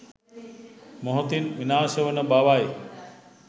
මොහොතින් විනාශවන බවයි.